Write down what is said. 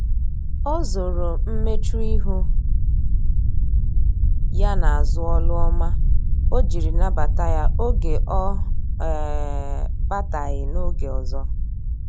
o zoro mmechuihu ya na azu olu ọma ojiri nabata ya oge ọ um bataghi na-oge ọzọ